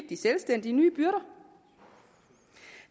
de selvstændige nye byrder